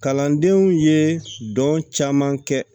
Kalandenw ye dɔn caman kɛ